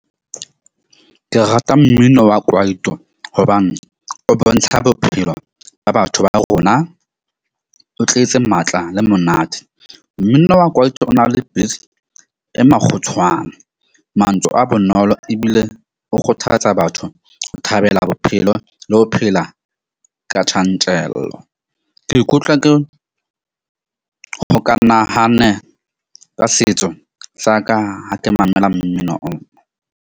Ke rata mmino wa kwaito hobane o bontsha bophelo ba batho ba rona, o tletse matla le monate. Mmino wa kwaito o na le e makgutshwane. Mantswe a bonolo ebile o kgothatsa batho ho thabela bophelo le ho phela ka tjantjello. Ke ikutlwa ke hokanahane ka setso sa ka ha ke mamela mmino oo.